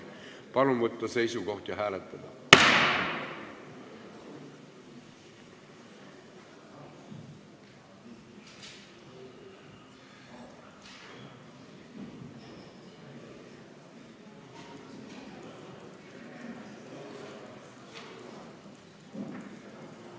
Palun võtta seisukoht ja hääletada!